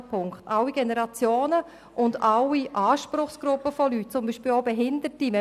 Die Strategie ist für alle Generationen und alle Anspruchsgruppen da – auch zum Beispiel für die Behinderten.